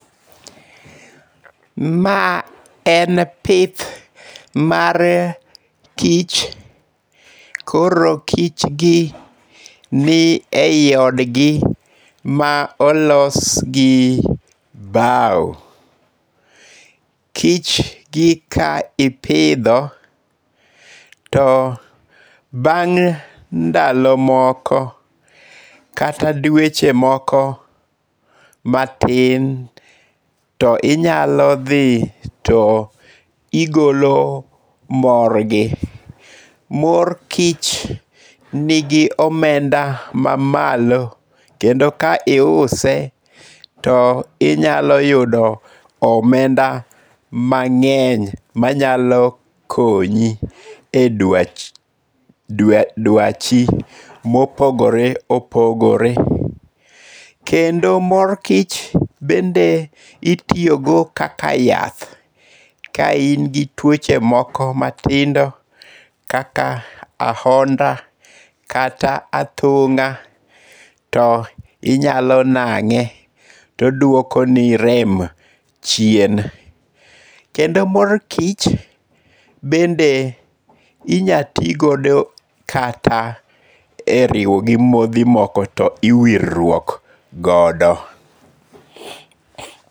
Ma en pith mar kich, koro kichgi ni ei odgi, ma olosgi bao. Kichgi ka ipidho, to bang' ndalo moko kata dweche moko matintto inyalo dhi to igolo morgi. Mor kich nigi omenda mamalo kendo ka iuse, to inyalo yudo omenda mang'eny manyalo konyi e dwachi mopogore opogore. Kendo mor kich bende itiyogo kaka yath. Ka in gi tuoche moko matindo kaka ahonda, kata athung'a, to inyalo nang'e to odwokoni rem chien. Kendo mor kich bende inya ti kodo e riwo gi modhi moko to iwirruok godo.